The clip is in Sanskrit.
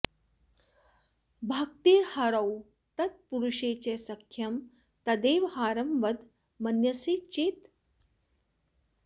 भक्तिर्हरौ तत्पुरुषे च सख्यं तदेव हारं वद मन्यसे चेत्